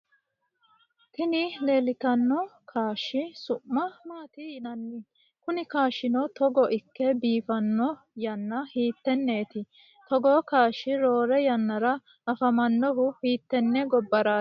Tini lelittano kashshi su’ma matti yinanni? Kuni kashshino togo ike bifano yana hitteneti? Togo kashsh rorre yanarra afamanohu hittene gobarrati?